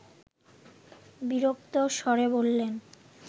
বিরক্ত স্বরে বললেন